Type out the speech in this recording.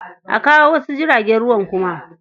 A kawo wasu jiragen ruwan kuma.